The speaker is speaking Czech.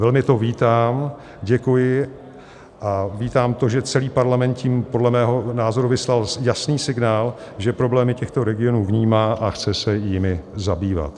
Velmi to vítám, děkuji a vítám to, že celý Parlament tím podle mého názoru vyslal jasný signál, že problémy těchto regionů vnímá a chce se jimi zabývat.